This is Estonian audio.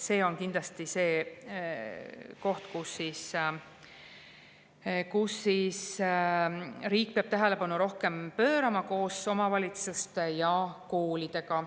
See on kindlasti koht, millele riik peab rohkem tähelepanu pöörama koos omavalitsuste ja koolidega.